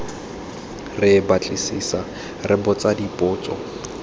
re batlisisa re botsa dipotso